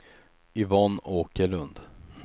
Yvonne Åkerlund